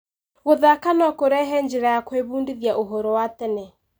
Gũthaka no kũrehe njĩra ya gwĩbundithia ũhoro wa tene.